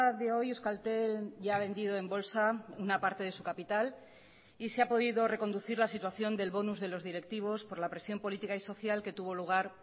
de hoy euskaltel ya ha vendido en bolsa una parte de su capital y se ha podido reconducir la situación del bonus de los directivos por la presión política y social que tuvo lugar